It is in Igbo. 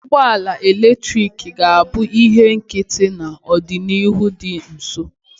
Ụgbọ ala eletrik ga-abụ ihe nkịtị n'ọdịnihu dị nso